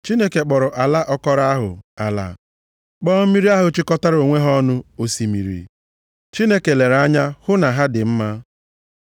Chineke kpọrọ ala akọrọ ahụ “ala,” kpọọ mmiri ahụ chịkọtara onwe ha ọnụ “osimiri.” Chineke lere anya hụ na ha dị mma.